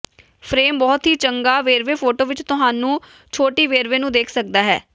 frame ਬਹੁਤ ਹੀ ਚੰਗਾ ਵੇਰਵੇ ਫੋਟੋ ਵਿਚ ਤੁਹਾਨੂੰ ਛੋਟੀ ਵੇਰਵੇ ਨੂੰ ਦੇਖ ਸਕਦਾ ਹੈ